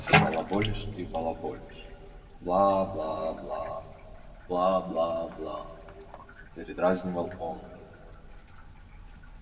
всё балаболишь и балаболишь бла-бла-бла бла-бла-бла передразнивал он